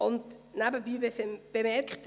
Nebenbei bemerkt: